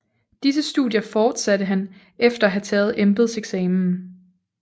Disse studier fortsatte han efter at have taget embedseksamen